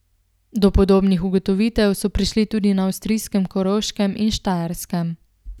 Do podobnih ugotovitev so prišli tudi na avstrijskem Koroškem in Štajerskem.